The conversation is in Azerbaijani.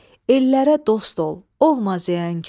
Ellərə dost ol, olma ziyankar.